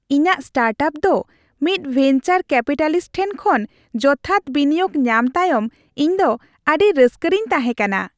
ᱤᱧᱟᱹᱜ ᱥᱴᱟᱨᱴᱟᱯ ᱫᱚ ᱢᱤᱫ ᱵᱷᱮᱱᱪᱟᱨ ᱠᱮᱯᱤᱴᱟᱞᱤᱥᱴ ᱴᱷᱮᱱ ᱠᱷᱚᱱ ᱡᱚᱛᱷᱟᱛ ᱵᱤᱱᱤᱭᱳᱜ ᱧᱟᱢ ᱛᱟᱭᱚᱢ ᱤᱧ ᱫᱚ ᱟᱹᱰᱤ ᱨᱟᱹᱥᱠᱟᱹᱨᱤᱧ ᱛᱟᱦᱮᱸ ᱠᱟᱱᱟ ᱾